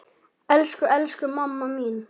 Elsku, elsku mamma mín.